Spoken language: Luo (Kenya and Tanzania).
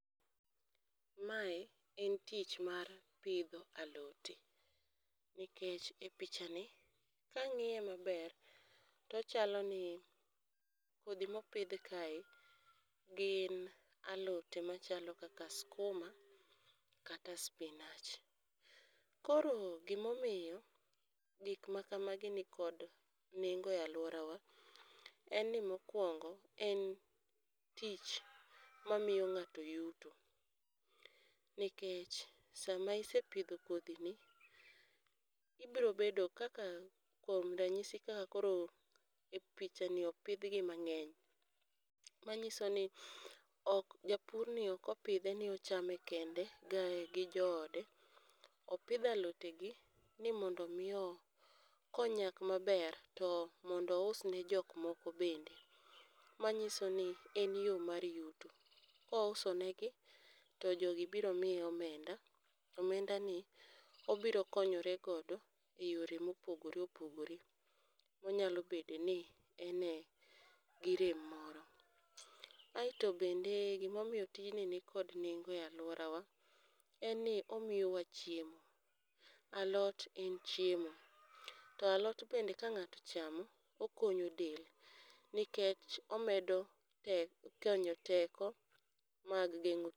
Mae en tich mar pidho alote, nikech e picha ni kang'iye maber tochalo ni kodhi mopidh kae gin alote machalo kaka skuma kata spinach. Koro gimomiyo gik ma kamagi ni kod nengo e alwora wa, en ni mokwongo en tich ma miyo ng'ato yuto. Nikech sama isepidho kodhi ni, ibro bedo kaka kuom ranyisi kaka koro e picha ni opidhgi mang'eny. Manyiso ni ok japurni ok opidhe ni ochame kende, gae gi joode. Opidho alote gi ni mondo miyo konyak maber to mondo usne jok moko bende. Manyiso ni en yo mar yuto, kouso negi, to jogi biro miye omenda. To omenda ni obiro konyore godo e yore mopogore opogore. Onyalo bede ni ene gi rem moro. Aeto bende gimomiyo tijni ni kod nengo e alworawa, en ni omiyowa chiemo. Alot en chiemo, to alot bende ka ng'ato ochamo, okonyo del. Nikech omedo tek konyo teko mag geng'o tu.